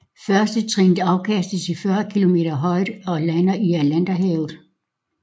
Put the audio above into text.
Førstetrinnet afkastes i 40 km højde og lander i Atlanterhavet